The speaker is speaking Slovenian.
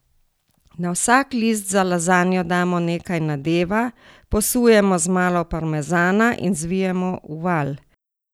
Na vsak list za lazanjo damo nekaj nadeva, posujemo z malo parmezana in zvijemo v valj.